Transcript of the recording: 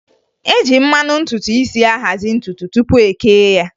E ji mmanụ ntutu isi ahazị ntutu tụpụ e kee ya